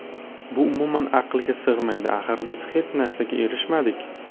Bu umuman aqlga sig‘maydi, axir biz hech narsaga erishmadik.